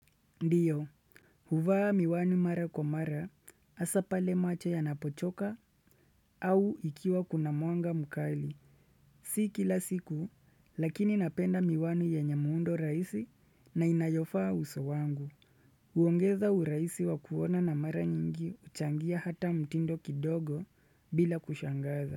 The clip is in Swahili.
Ndio, huvaa miwani mara kwa mara, hasa pale macho yanapochoka au ikiwa kuna mwanga mukali. Si kila siku, lakini napenda miwani yenye muundo rahisi na inayofaa uso wangu. Uongeza uraisi wa kuona na mara nyingi huchangia hata mtindo kidogo bila kushangaza.